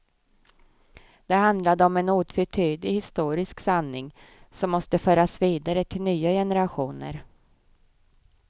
Där handlade det om en otvetydig historisk sanning som måste föras vidare till nya generationer.